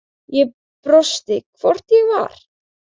Ég brosti, hvort ég var!